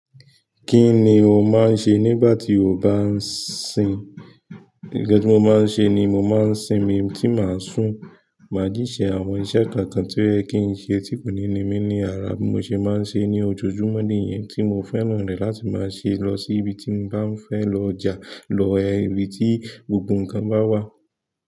Kí ni o máa ń ṣe nígbà tí o bá ń sin? Nkan ti mo máa ń ṣe ni mo máa ń sin mi tí màá sùn. Màá jí ṣe àwọn iṣẹ́ kọọkan tí o yẹ kí n ṣe tí kò ní ní mí ní ara bí mo ṣe máa ń ṣe ní ojoojúmọ́ nìyẹn tí mo fẹ́ràn rẹ̀ láti máa ṣe lọ sí ibi tí mo bá ń fẹ́ lọ ja, lọ ibi tí gbogbo ǹkan bá wà.